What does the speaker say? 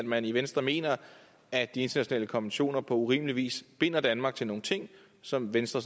man i venstre mener at de internationale konventioner på urimelig vis binder danmark til nogle ting som venstre